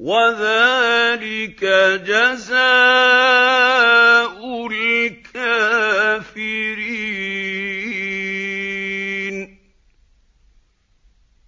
وَذَٰلِكَ جَزَاءُ الْكَافِرِينَ